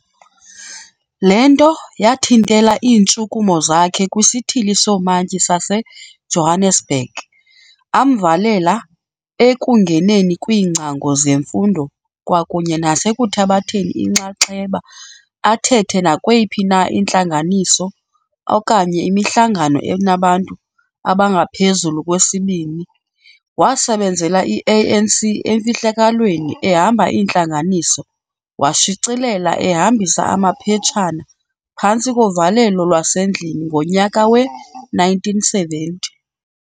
Le nto yathintela iintshukumo zakhe kwisithili soomantyi sase-Johannesburg, amvalela ekungeneni kwiingcango zemfundo kwakunye nasekuthabatheni inkxaxheba athethe nakweyiphi na intlanganiso akanye imihlangano enabantu abangaphezulu kwesibini. Wasebenzela i-ANC emfihlakalweni ehamba iintlanganiso washicilela ehambisa amaphetshana phantsi kovalelo lwasendlini ngonyaka we-1970.